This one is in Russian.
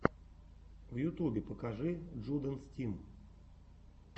в ютубе покажи джудэнс тим